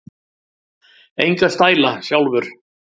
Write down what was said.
Enga stæla, sjálfur!